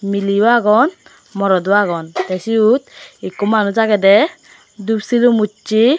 miley yo agon morodo agon tey siyot ikko manus agedey dup silum ussey.